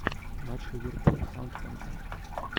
матч ливерпуль саутгемптон